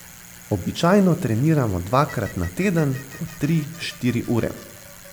Običajno treniramo dvakrat na teden po tri, štiri ure.